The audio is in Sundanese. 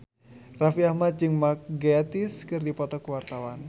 Raffi Ahmad jeung Mark Gatiss keur dipoto ku wartawan